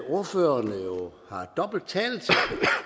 ordførerne jo har dobbelt til